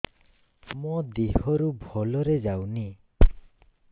ମୋ ଦିହରୁ ଭଲରେ ଯାଉନି